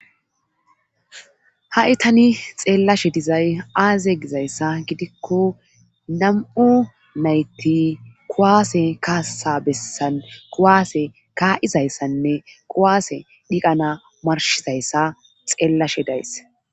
ha7itani xeellashe dizay aaze gizayssa gidikko nam7u nayti kuwaase kaasa bessan kuwaase kaa7izayssanne quwaase dhiqana marshizayssa xeellashe days